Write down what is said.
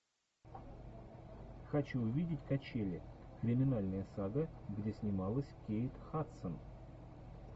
хочу увидеть качели криминальная сага где снималась кейт хадсон